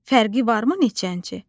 Fərqi varmı neçənci?